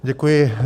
Děkuji.